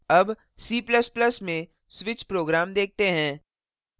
अब c ++ में switch program देखते हैं